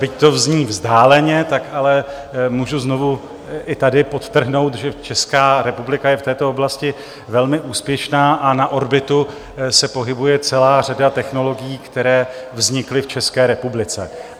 Byť to zní vzdáleně, tak ale můžu znovu i tady podtrhnout, že Česká republika je v této oblasti velmi úspěšná a na orbitu se pohybuje celá řada technologií, které vznikly v České republice.